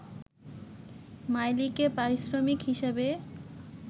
মাইলিকে পারিশ্রমিক হিসেবে